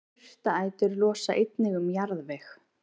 Jurtaætur losa einnig um jarðveg.